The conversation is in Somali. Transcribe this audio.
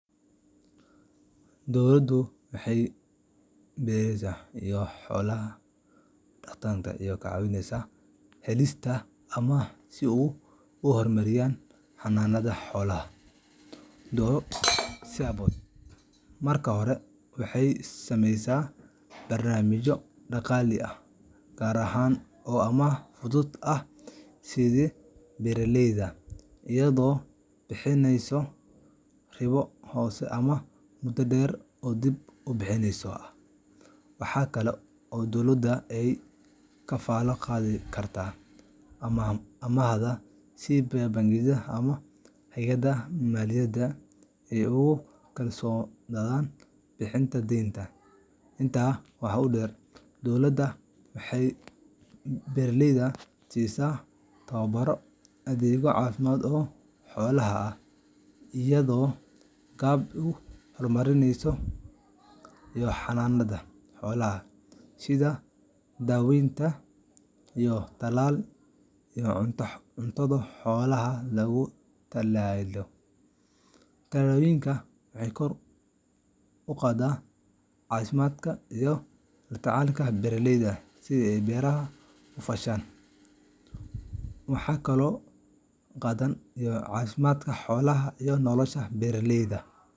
Dowladdu waxay beeraleyda iyo xoola-dhaqatada ka caawisaa helista amaah si ay u horumariyaan xanaanada xoolaha dhowr siyaabood. Marka hore, waxay sameysaa barnaamijyo dhaqaale oo gaar ah oo amaah fudud ah siiya beeraleyda, iyadoo bixisa ribo hoose ama muddo dheer oo dib u bixinta ah. Waxa kale oo dowladda ay kafaalo qaadi kartaa amaahda si bangiyada ama hay’adaha maaliyadeed ay ugu kalsoonaadaan bixinta deynta. Intaa waxaa dheer, dowladda waxay beeraleyda siisaa tababaro, adeegyo caafimaad oo xoolaha ah, iyo agab ay ku horumariyaan xanaanada xoolaha sida daawooyin, talaal iyo cunto xoolaha loogu talagalay. Tallaabooyinkan waxay kor u qaadaan wax-soosaarka, caafimaadka xoolaha, iyo nolosha beeraleyda.